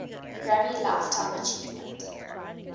grammy lifetime achievement